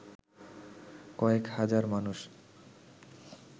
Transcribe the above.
কয়েক হাজার মানুষ